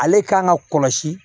Ale kan ka kɔlɔsi